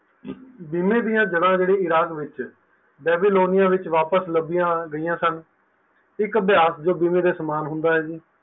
ਬੀਮੇ ਦੀ ਜੜ੍ਹਾਂ ਜਿਹੜੀ ਇਰਾਕ ਵਿੱਚ ਬਾਬਯਲੋਨਿਆ ਵਿੱਚ ਵਾਪਿਸ ਲਬਿਆ ਗਈਆ ਸਨ ਇੱਕ ਅਭਿਆਸ ਜੋ ਬੀਮੇ ਦੇ ਸਮਾਨ ਹੁਨਾ ਹੈ ਜੀ